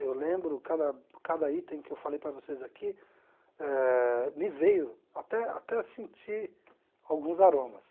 Eu lembro, cada cada item que eu falei para vocês aqui eh, me veio até até sentir alguns aromas.